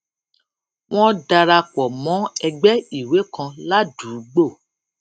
wón dara pò mó ẹgbé ìwé kan ládùúgbò